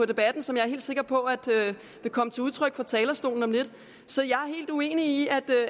debatten som jeg er sikker på vil komme til udtryk fra talerstolen om lidt så jeg er helt uenig i